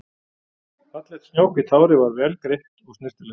Fallegt snjóhvítt hárið var vel greitt og snyrtilegt.